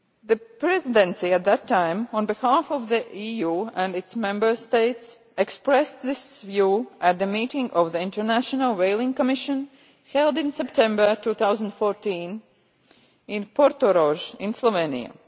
The Presidency, at that time, on behalf of the EU and its Member States, expressed this view at the meeting of the International Whaling Commission held in September 2014, in Portorož, in Slovenia.